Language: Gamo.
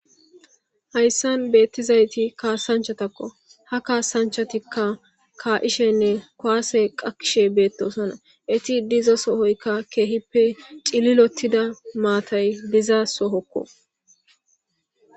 Hayssan beettizayti kaasanchatakko ha kaasanchatikka ka7ishenne koase qakishe beettosona eti diza sohoykka keehippe cililotida maatay diza sohokko.